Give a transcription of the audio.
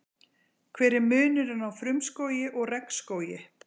hver er munurinn á frumskógi og regnskógi